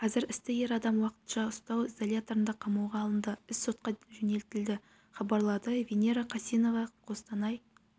қазір істі ер адам уақытша ұстау изоляторына қамауға алынды іс сотқа жөнелтілді хабарлады венера қасенова қостанай